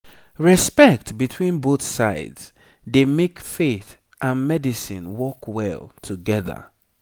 respect between both sides dey make faith and medicine work well together